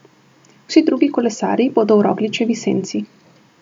Vsi drugi kolesarji bodo v Rogličevi senci.